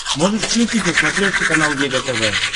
можешь включить на смотрешке канал егэ тв